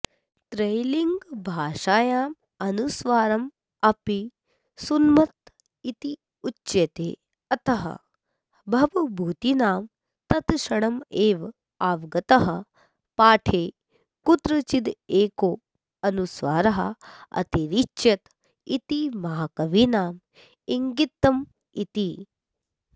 त्रैलिङ्गभाषायां अनुस्वारमपि सुन्नमित्युच्यते अतः भवभूतिना तत्क्षणमेवावगतः पाठे कुत्रचिदेको अनुस्वाऱः अतिरिच्यत इति महाकविना इङ्गितमिति